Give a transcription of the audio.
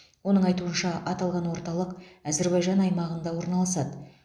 оның айтуынша аталған орталық әзербайжан аймағында орналасады